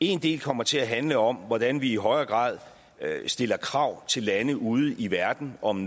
en del kommer til at handle om hvordan vi i højere grad stiller krav til lande ude i verden om